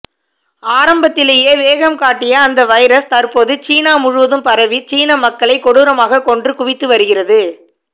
ஆரம்பத்திவேயே வேகம் காட்டிய அந்த வைரஸ் தற்போது சீனா முழுவதும் பரவி சீன மக்களை கொடூரமாக கொன்று குவித்து வருகிறது